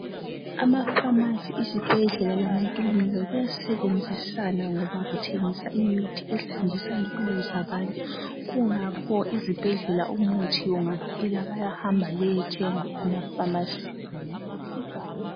Amapharmacy, izibhedlela lamakilinika, kuyasebenzisana ngoba kuthengisa imithi esindisa izimpilo zabantu., Kungakho izibhedlela umuthi ungaphela, bayahamba bayethenga emafanasini. (emapharmacini.)